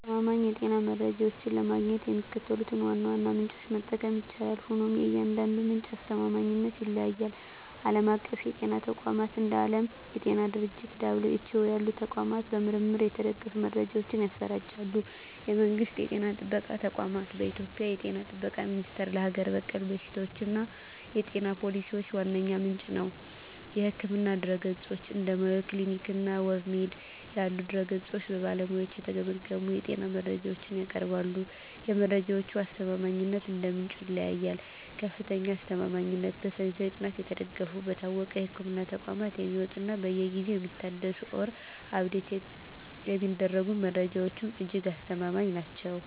አስተማማኝ የጤና መረጃዎችን ለማግኘት የሚከተሉትን ዋና ዋና ምንጮች መጠቀም ይቻላል፤ ሆኖም የእያንዳንዱ ምንጭ አስተማማኝነት ይለያያል። ዓለም አቀፍ የጤና ተቋማት፦ እንደ ዓለም የጤና ድርጅት (WHO) ያሉ ተቋማት በምርምር የተደገፉ መረጃዎችን ያሰራጫሉ። የመንግስት ጤና ጥበቃ ተቋማት፦ በኢትዮጵያ የ ጤና ጥበቃ ሚኒስቴር ለሀገር በቀል በሽታዎችና የጤና ፖሊሲዎች ዋነኛ ምንጭ ነው። የሕክምና ድረ-ገጾች፦ እንደ Mayo Clinic እና WebMD ያሉ ድረ-ገጾች በባለሙያዎች የተገመገሙ የጤና መረጃዎችን ያቀርባሉ። የመረጃዎቹ አስተማማኝነት እንደ ምንጩ ይለያያል፦ ከፍተኛ አስተማማኝነት፦ በሳይንሳዊ ጥናት የተደገፉ፣ በታወቁ የሕክምና ተቋማት የሚወጡ እና በየጊዜው የሚታደሱ (Update የሚደረጉ) መረጃዎች እጅግ አስተማማኝ ናቸው።